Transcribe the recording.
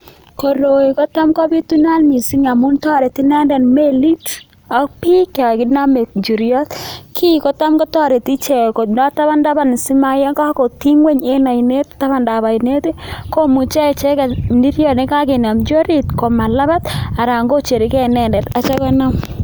Koroi kotam kopitunat missing' amun toreti inendet melit ok biik yon kinome njiriot. Kiiy kotam kotoreti ichek kondo taban taban simayo kotiny ng'weny en oinet tabandab oinet komuche echegen njiriot nekokenomchi orit komalabat aran kocherkei inendet.